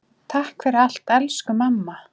Takk fyrir allt elsku mamma.